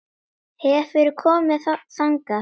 Hefurðu komið þangað?